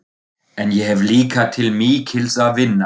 En ég hef líka til mikils að vinna.